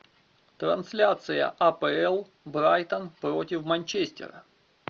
трансляция апл брайтон против манчестера